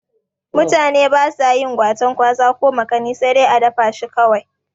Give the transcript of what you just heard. Mutane basa yin gwaten gwaza ko makani sai dai a dafa shi kawai